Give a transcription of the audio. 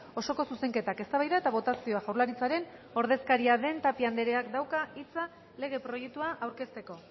osoko zuzenketak eztabaida eta botazioa jaurlaritzaren ordezkaria den tapia andreak dauka hitza lege proiektua aurkezteko